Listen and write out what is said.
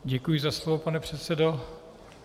Děkuji za slovo, pane předsedo.